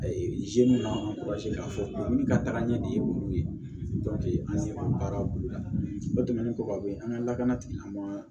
A ye k'a fɔ ni ka tagaɲɛ de ye olu ye an ɲɛma baara boloda o tɛmɛnen kɔ ka bɔ yen an ka lakana tigilamɔgɔw